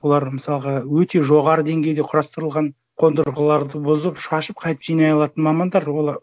олар мысалға өте жоғары деңгейде құрастырылған қондырғыларды бұзып шашып қайтып жинай алатын мамандар олар